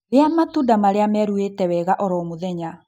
Rĩa matunda marĩa meruĩte wega oro mũthenya